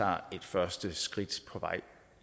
er et første skridt på vej